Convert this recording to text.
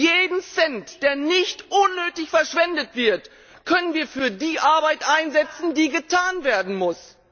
Jeden Cent, der nicht unnötig verschwendet wird, können wir für die Arbeit einsetzen, die getan werden muss.